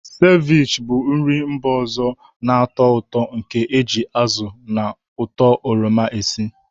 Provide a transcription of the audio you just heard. Sevich bụ nri mba ọzọ na-atọ ụtọ nke e ji azụ na ụtọ oroma esi.